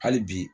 Hali bi